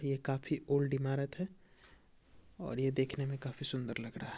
ये काफी ओल्ड इमारत है और ये देखने में काफी सुन्दर लग रही है।